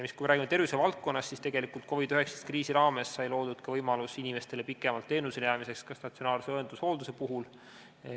Kui me räägime tervisevaldkonnast, siis tegelikult COVID-19 kriisi raames sai loodud ka võimalus inimestele pikemalt teenusele jäämiseks ka statsionaarse õendushoolduse puhul.